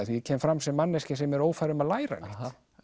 því ég kem fram sem manneskja sem er ófær um að læra neitt